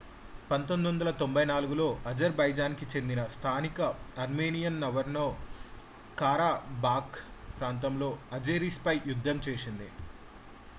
1994లో Azerbaijan కి చెందిన స్థానిక ఆర్మేనియన్ నగోర్నో కారాబాఖ్ ప్రాంతం అజేరిస్ పై యుద్ధం చేసింది